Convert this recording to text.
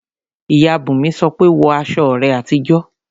Ìyá Bùnmi sọ pé "wọ aṣọ rẹ àtijọ́!"